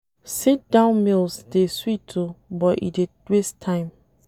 Sit-down meals dey sweet o but e dey waste time.